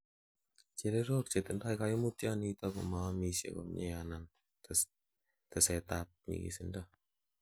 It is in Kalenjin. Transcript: Chererok chetinye koimutioniton komoomisie komie anan tetsetab nyikisindo